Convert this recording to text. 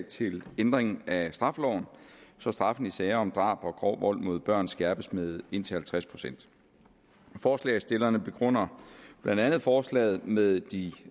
til ændring af straffeloven så straffen i sager om drab og grov vold mod børn skærpes med indtil halvtreds procent forslagsstillerne begrunder blandt andet forslaget med de